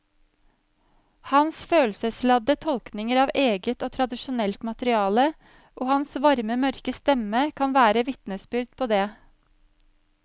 Hans følelsesladde tolkninger av eget og tradisjonelt materiale og hans varme mørke stemme kan være vitnesbyrd på det.